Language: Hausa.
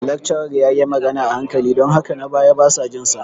Lecturer ya yi magana a hankali don haka na baya basa jin sa.